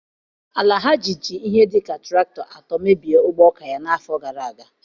Alhaji ji ihe dị ka traktọ atọ mebie ugbo ọka ya n'afọ gara aga.